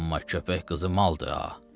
Amma köpək qızı maldır ha!